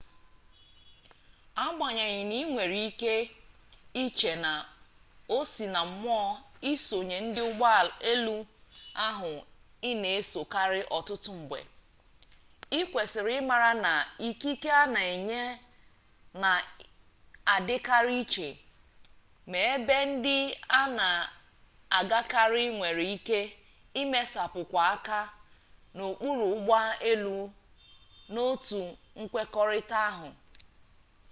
agbanyeghị na inwere ike iche na o sinammụọ isonye ndị ụgbọ elu ahụ ị na-esokarị ọtụtụ mgbe ị kwesịrị ịmara na ikike a na-enye na-adịkarị iche ma ebe ndị a na-agakarị nwere ike imesapụkwụ aka n'okpuru ụgbọ elu n'otu nkwekọrịta ahụ